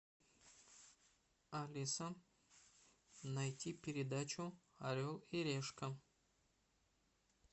алиса найти передачу орел и решка